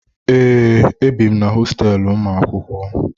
Ee, ebi m na hosteelu ụlọ akwụkwọ